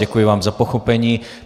Děkuji vám za pochopení.